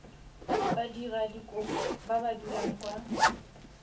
badiradikopo ba ba dulang kwa